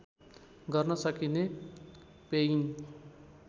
गर्न सकिने पेइङ